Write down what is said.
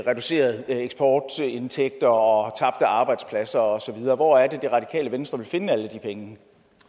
reducerede eksportindtægter og tabte arbejdspladser og så videre hvor er det det radikale venstre vil finde alle de penge